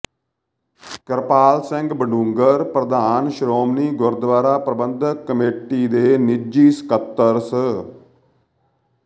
ਕਿਰਪਾਲ ਸਿੰਘ ਬਡੂੰਗਰ ਪ੍ਰਧਾਨ ਸ਼੍ਰੋਮਣੀ ਗੁਰਦੁਆਰਾ ਪ੍ਰਬੰਧਕ ਕਮੇਟੀ ਦੇ ਨਿੱਜੀ ਸਕੱਤਰ ਸ